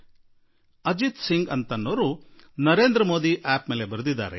ಒಬ್ಬ ಸಜ್ಜನ ಅಜಿತ್ ಸಿಂಗ್ ನರೇಂದ್ರ ಮೋದಿ ಂಠಿಠಿನಲ್ಲಿ ಬರೆದಿದ್ದಾರೆ